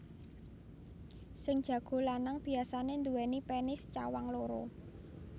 Sing jago lanang biasané nduwèni penis cawang loro